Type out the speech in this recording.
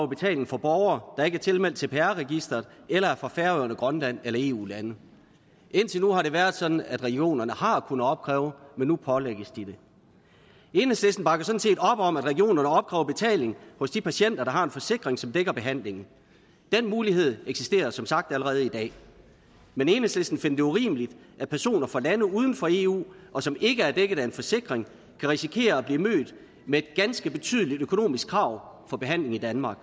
betaling fra borgere der ikke er tilmeldt cpr registeret eller er fra færøerne grønland eller eu lande indtil nu har det været sådan at regionerne har kunnet opkræve men nu pålægges de det enhedslisten bakker sådan set op om at regionerne opkræver betaling hos de patienter der har en forsikring som dækker behandlingen den mulighed eksisterer som sagt allerede i dag men enhedslisten finder det urimeligt at personer fra lande uden for eu og som ikke er dækket af en forsikring kan risikere at blive mødt med et ganske betydeligt økonomisk krav for behandling i danmark